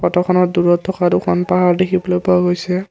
ফটোখনত দূৰত থকা দুখন পাহাৰ দেখিবলৈ পোৱা গৈছে।